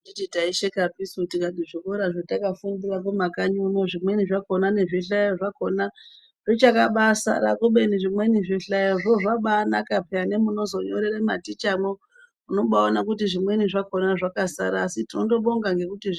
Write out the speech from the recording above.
Anditi tai shekapisu tikati zvikora zvataka fundira ku makanyi uno zvimweni zvakona nezvi hlayo zvakona zvicha kabai sara kubeni zvimweni zvi hlayozvo zvakubai naka peya ne munozo nyorere maticha mo unobai ona zvimweni zvakona zvakasara asi tinondo bonga ngekuti zvi.